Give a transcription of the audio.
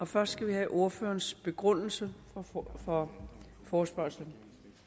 først have ordførerens begrundelse for forespørgslen